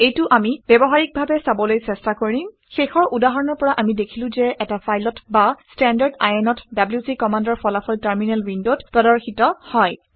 এইটো আমি ব্যৱহাৰিকডাৱে চাবলৈ চেষ্টা কৰিম। শেষৰ উদাহৰণৰ পৰা আমি দেখিলো যে এটা ফাইলত বা standardin অত ডব্লিউচি কমাণ্ডৰ ফলাফল টাৰমিনেল উইণ্ডত প্ৰদৰ্শিত হয়